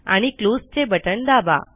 आणि क्लोजचे बटण दाबा